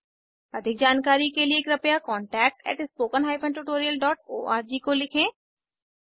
अधिक जानकारी के लिए कृपया contactspoken tutorialorg को लिखें